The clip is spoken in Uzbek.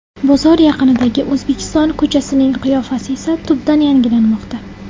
Bozor yaqinidagi ‘O‘zbekiston’ ko‘chasining qiyofasi esa tubdan yangilanmoqda.